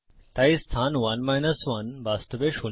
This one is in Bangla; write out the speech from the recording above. তাই স্থান 1 1 বাস্তবে শূন্য